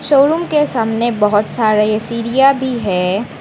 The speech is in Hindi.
शोरूम के सामने बहोत सारे सीरिया भी हैं।